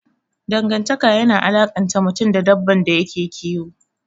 Dangantaka yana alakanta mutum da dabban da yake kiyo.